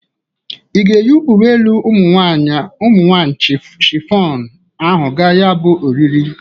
Ị ga-eyi uwe elu ụmụ nwaanyị chịfọnụ ahụ ga ya bụ oriri?